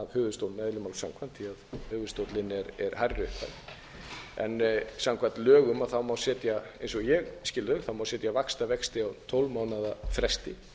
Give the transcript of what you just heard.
máls samkvæmt því höfuðstóllinn er hærri upphæð samkvæmt lögum má setja eins og ég skil þau vaxtavexti á tólf mánaða fresti